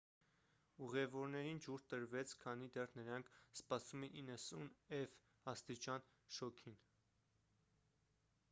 ուղևորներին ջուր տրվեց քանի դեռ նրանք սպասում էին 90ֆ աստիճան շոգին։